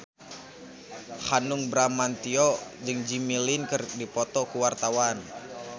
Hanung Bramantyo jeung Jimmy Lin keur dipoto ku wartawan